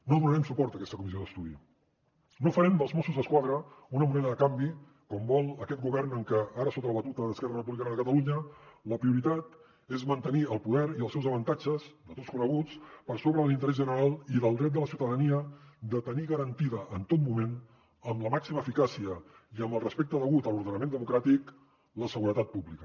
no donarem suport a aquesta comissió d’estudi no farem dels mossos d’esquadra una moneda de canvi com vol aquest govern que ara sota la batuta d’esquerra republicana de catalunya la prioritat és mantenir el poder i els seus avantatges de tots coneguts per sobre de l’interès general i del dret de la ciutadania de tenir garantida en tot moment amb la màxima eficàcia i amb el respecte degut a l’ordenament democràtic la seguretat pública